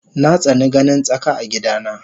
Natsani ganin tsaka a gida na